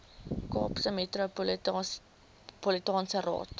kaapse metropolitaanse raad